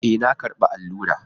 E,, na karɓa allura.